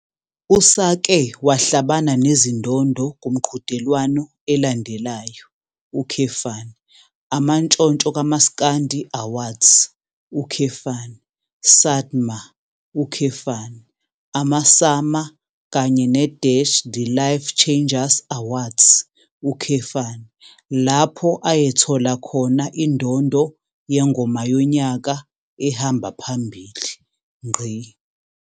Usake wahlabana nezindondo kumqhudelwano elandelayo, Amantshonthso kaMaskandi Awards, SATMA, amaSAMA kanye ne-The Life Changers Awards, lapho ayethola khona indondo yeNgoma Yonyaka ehamba Phambili.